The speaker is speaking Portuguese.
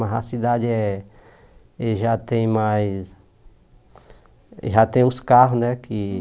Mas a cidade é e já tem mais... Já tem os carros, né? Que